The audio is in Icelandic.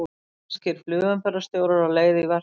Spænskir flugumferðarstjórar á leið í verkfall